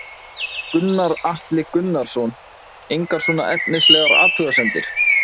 Gunnar Atli Gunnarsson: Engar svona efnislegar athugasemdir?